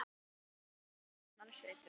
Aðeins skart hennar situr eftir.